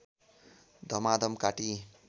धमाधम काटी